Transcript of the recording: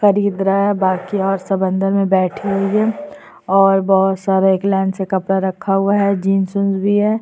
खरीद रहा है बाकी यार सब अन्दर में बैठे हुए है और बहोत सारा एक लाइन से कपड़ा रखा हुआ है जीन्स वीन्स भी है।